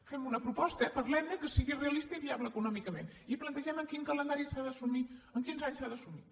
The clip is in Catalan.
fem una proposta parlem ne que sigui realista i viable econòmicament i plantegem en quin calendari s’ha d’assumir en quins anys s’ha d’assumir